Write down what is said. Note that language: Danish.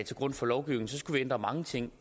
til grund for lovgivning skulle vi ændre mange ting